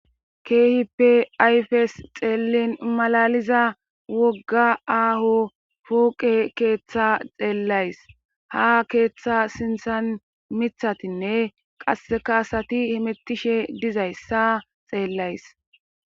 keehippe ayfes xeellin malaliza wogga aaho fooqe keeththa xeellays ha keeththa sinthan mithatinne qaseka asati himitishe dizayssa xeellays